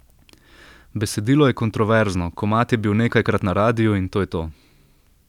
Besedilo je kontroverzno, komad je bil nekajkrat na radiu, in to je to.